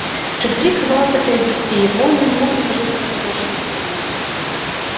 фредерик рвался приобрести его но не мог предложить подходящую сумму